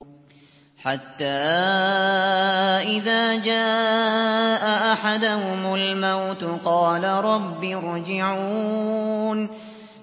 حَتَّىٰ إِذَا جَاءَ أَحَدَهُمُ الْمَوْتُ قَالَ رَبِّ ارْجِعُونِ